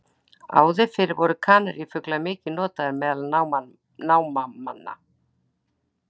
Áður fyrr voru kanarífuglar mikið notaðir meðal námamanna.